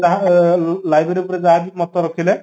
ତାହା library ଉପରେ ଯାହାକି ମତ ରଖିଲେ